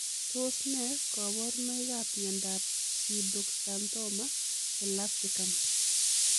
Tos nee kabarunoik ap miondoop pseudoxanthoma elastikam?